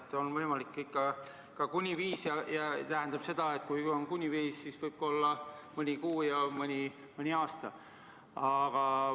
Nii et on võimalik ikka ka kuni viis aastat ja see tähendab, et kui on kuni viis aastat, siis võib ka olla mõni kuu ja mõni aasta.